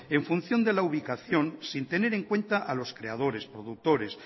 en función de la ubicación sin tener en cuenta a los creadores productores